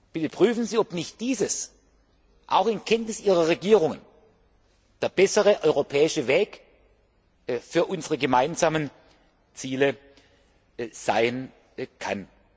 Bitte prüfen Sie, ob nicht dies auch in Kenntnis ihrer Regierungen der bessere europäische Weg für unsere gemeinsamen Ziele sein